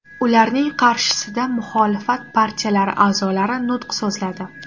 Ularning qarshisida muxolifat partiyalari a’zolari nutq so‘zladi.